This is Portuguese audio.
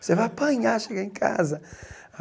Você vai apanhar, chegar em casa.